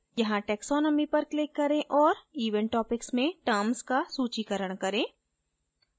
यहाँ taxonomy पर click करें और event topics में terms का सूचीकरण करें